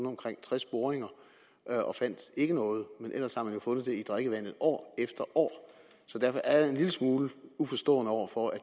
omkring tres boringer og fandt ikke noget men ellers har man jo fundet det i drikkevandet år efter år derfor er jeg en lille smule uforstående over for at